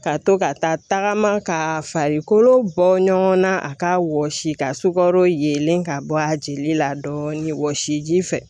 Ka to ka taa tagama ka farikolo bɔ ɲɔgɔn na a k'a wɔsi ka sukaro yelen ka bɔ a jeli la dɔɔnin wɔsiji fɛ